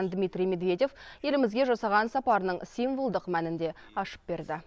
дмитрий медведев елімізге жасаған сапарының символдық мәнін де ашып берді